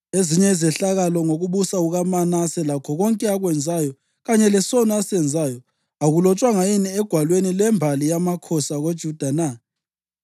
Ezinye izehlakalo ngokubusa kukaManase, lakho konke akwenzayo, kanye lesono asenzayo, akulotshwanga yini egwalweni lwembali yamakhosi akoJuda na?